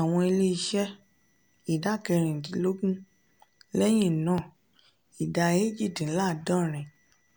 àwọn ilé-iṣẹ́ ìdá kerìdinlógún lẹ́yin náà ìdá eéjì-dín-láàádórin